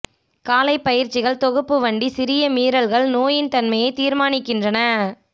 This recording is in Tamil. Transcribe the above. காலை பயிற்சிகள் தொகுப்பு வண்டி சிறிய மீறல்கள் நோயின் தன்மையை தீர்மானிக்கின்றன